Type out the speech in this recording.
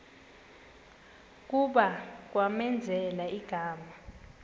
kuba kwamenzela igama